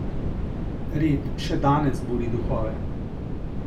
Red še danes buri duhove.